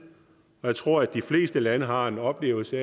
jeg tror de fleste lande har en oplevelse